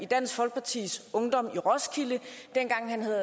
dansk folkepartis ungdom i roskilde dengang han havde